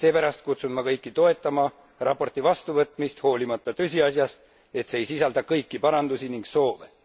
Seepärast kutsun ma kõiki toetama raporti vastuvõtmist, hoolimata tõsiasjast, et see ei sisalda kõiki parandusi ning soove.